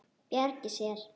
Bjargi sér.